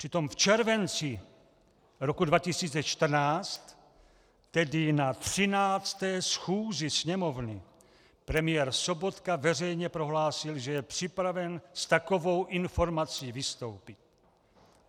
Přitom v červenci roku 2014, tedy na 13. schůzi Sněmovny, premiér Sobotka veřejně prohlásil, že je připraven s takovou informací vystoupit.